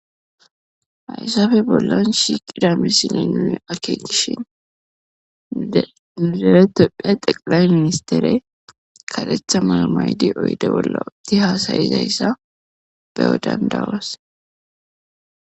haysafe bollan shiiqida misile nuni akke gishin nideretopphiya xeqilay ministere kaletha mayamaydi oyde bolla odti haasayizayssa beyo dandawase